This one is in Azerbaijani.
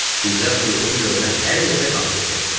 Bizə uyğun görünən hər yerdə konsert verirdik.